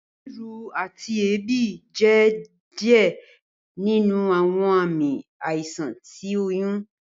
Riru ati eebi jẹ diẹ ninu awọn aami aisan ti oyun.